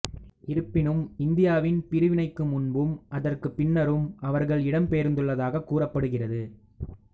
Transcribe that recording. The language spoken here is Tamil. இருப்பினும் இந்தியாவின் பிரிவினைக்கு முன்பும் அதற்குப் பின்னரும் அவர்கள் இடம் பெயர்ந்துள்ளதாக கூறப்படுகிறது